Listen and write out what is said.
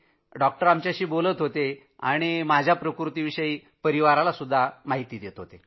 doctor आमच्याशी बोलत होते आणि ते कुटुंबावाला माहिती देत होते